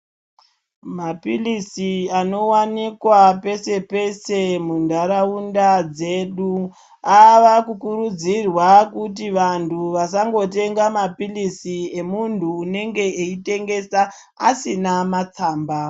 Mapirizi anowanikwa pese pese munharaunda medu ava kukurudzirwa kuti vantu vasangotenga mapirizi emuntu anenge eitengesa asina matsamba.